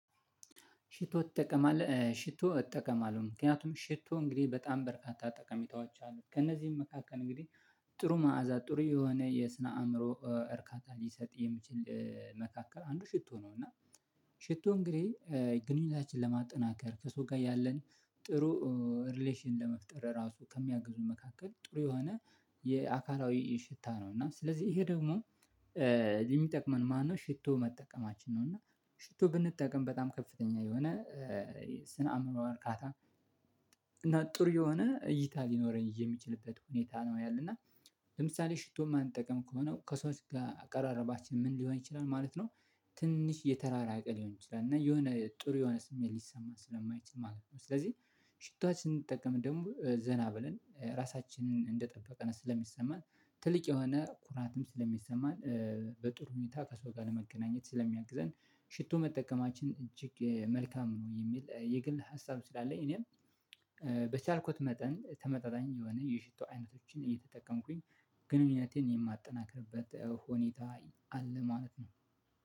ሽቶ ትጠቀማለህ ሽቶ እጠቀማለሁ ምክንያቱም ሽቶ እንግዲህ በጣም በርካታ ጠቀሜታዎች አሉት ከእነዚህም መካከል እንግዲህ ጥሩ መዓዛ ጥሩ የሆነ የስነ አእምሮ እርካታ ሊሰጥ የሚችል መካከል አንዱ ሽቶ ነው። እና ሽቶ እንግዲህ ግንኙነታችንን ለማጠናከር ከሰው ጋር ያለን ጥሩ ሪሌሸን ለመፍጠር ራሱ ከሚያግዙ መካከል ጥሩ የሆነ የአካላዊ ሽታ ነው እና ስለዚህ ይሄ ደግሞ የሚጠቅመን ማነው ሽቶ መጠቀማችን ነው። እና ሽቶ ብንጠቀም በጣም ከፍተኛ የሆነ የስነ አእምሮ እርካታ እና ጥሩ የሆነ እይታ ሊኖረኝ የሚችልበት ሁኔታ ነው ያለና ለምሳሌ ሽቶ የማንጠቅም ከሆነ ከሰዎች ጋር አቀራረባችን ምን ሊሆን ይችላል ማለት ነው? ትንሽ የተራራቀ ሊሆን ይችላል እና የሆነ ጥሩ የሆነ ስሜት ሊሰማን ስለማይችል ማለት ነው። ስለዚህ ሽቶአችን ስንጠቀም ደግሞ ዘና ብለን ራሳችንን እንደጠበቀን ስለሚሰማን ትልቅ የሆነ ኩራትም ስለሚሰማን በጥሩ ሁኔታ ከሰው ጋር ለመገናኘት ስለሚያግዘን ሽቶ መጠቀማችን እጅግ መልካም ነው። የሚል የግል ሀሳብ ስላለኝ እኔም በቻልኩት መጠን ተመጣጣኝ የሆነ የሽቶ አይነቶችን እየተጠቀምኩኝ ግንኙነቴን የማጠናክርበት ሁኔታ አለ ማለት ነው